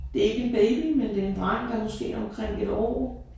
Det ikke en baby men det en dreng der måske omkring 1 år